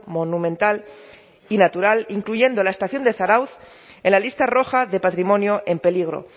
monumental y natural incluyendo la estación de zarautz en la lista roja de patrimonio en peligro